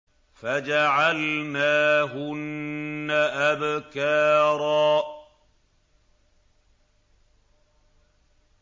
فَجَعَلْنَاهُنَّ أَبْكَارًا